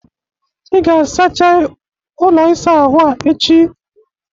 Ị ga-asachaịi ụlọ isa ahụ a echi!